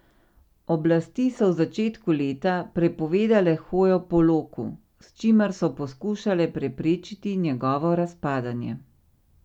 Oblasti so v začetku leta prepovedale hojo po loku, s čimer so poskušale preprečiti njegovo razpadanje.